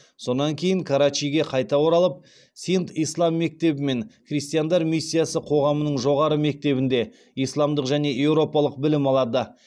сонан карачиге қайта оралып синд ислам мектебі мен христиандар миссиясы қоғамының жоғарғы мектебінде исламдық және еуропалық білім алады